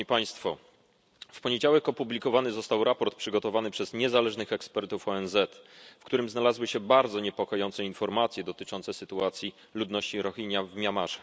W poniedziałek opublikowany został raport przygotowany przez niezależnych ekspertów ONZ, w którym znalazły się bardzo niepokojące informacje dotyczące sytuacji ludności Rohingja w Mjanmie.